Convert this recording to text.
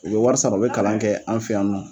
U be wari sara u be kalan kɛ an fɛ yan nɔ.